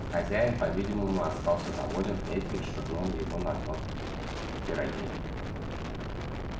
хозяин по видимому остался доволен этим и швырнул его на дно пироги